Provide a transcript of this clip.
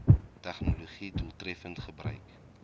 tegnologië doeltreffend gebruik